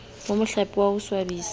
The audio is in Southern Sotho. ho mohlape wa ho tswadisa